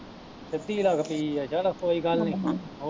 ਸਿਧਿ ਲੱਗਦੀ ਈ ਐ, ਚੱਲ ਕੋਈ ਗੱਲ ਨੀ।